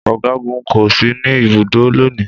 Ọ̀gágun kò sí ní ibùdó lónìí